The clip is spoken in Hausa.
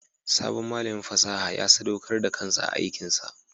Sabon malamin fasaha ya sadaukar da kansa ga aikinsa.